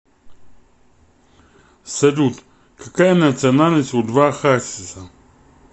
салют какая национальность у льва хасиса